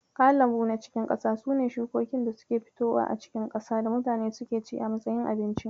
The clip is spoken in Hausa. Kayan lambu na cikin ƙasa sune shukokin da suke fitowa a cikin ƙasa da mutane suke ci a matsayin abinci.